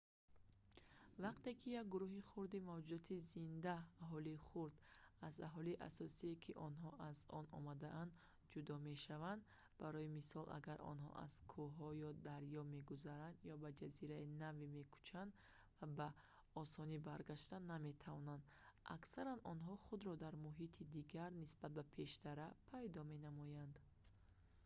вақте ки як гурӯҳи хурди мавҷудоти зинда аҳолии хурд аз аҳолии асосие ки онҳо аз он омадаанд ҷудо мешавад барои мисол агар онҳо аз кӯҳҳо ё дарё мегузаранд ё ба ҷазираи наве мекӯчанд ва ба осонӣ баргашта наметавонанд аксаран онҳо худро дар муҳити дигар нисбат ба пештара пайдо менамоянд